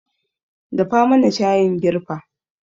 Dafa mana shayin girfa